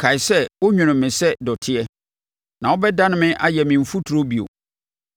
Kae sɛ wonwonoo me sɛ dɔteɛ. Na wobɛdane me ayɛ me mfuturo bio?